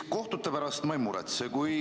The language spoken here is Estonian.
Kohtute pärast ma ei muretse.